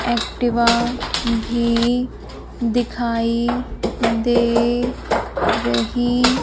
Activa भीं दिखाई दे रहीं--